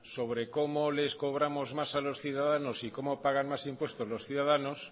sobre cómo les cobramos más a los ciudadanos y cómo pagan más impuestos los ciudadanos